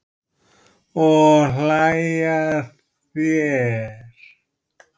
Og hlæja að þér.